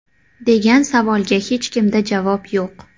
degan savolga hechkimda javob yo‘q.